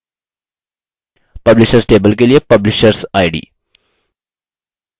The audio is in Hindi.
publishers table के लिए pulishersid